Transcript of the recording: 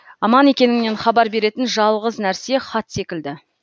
аман екеніңнен хабар беретін жалғыз нәрсе хат секілді